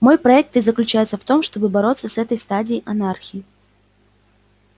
мой проект и заключается в том чтобы бороться с этой стадией анархии